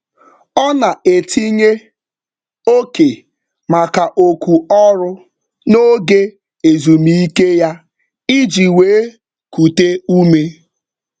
Ọ na-etinye oke maka oku ọrụ n'oge ezumike ya iji wee kute ume.